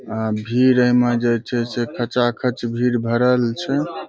अ भीड़ एहिमे ज चे खचाखच भीड़ भरल छै।